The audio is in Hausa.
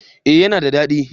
eh ya na da dadi